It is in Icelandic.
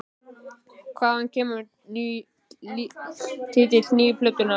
Hvaðan kemur titill nýju plötunnar?